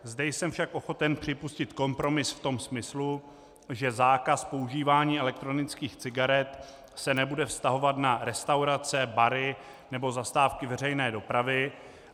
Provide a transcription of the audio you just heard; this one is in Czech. Zde jsem však ochoten připustit kompromis v tom smyslu, že zákaz používání elektronických cigaret se nebude vztahovat na restaurace, bary nebo zastávky veřejné dopravy.